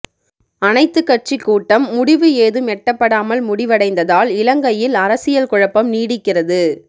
அனைத்துக் கட்சி கூட்டம் முடிவு ஏதும் எட்டப்படாமல் முடிவடைந்ததால் இலங்கையில் அரசியல் குழப்பம் நீடிக்கிறது